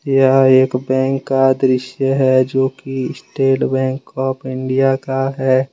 यह एक बैंक का दृश्य है जोकि स्टेट बैंक आफ इंडिया का है।